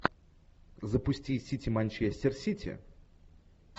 запусти сити манчестер сити